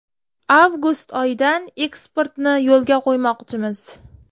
Avgust oyidan eksportni yo‘lga qo‘ymoqchimiz.